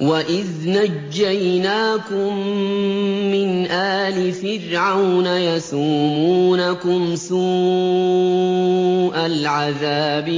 وَإِذْ نَجَّيْنَاكُم مِّنْ آلِ فِرْعَوْنَ يَسُومُونَكُمْ سُوءَ الْعَذَابِ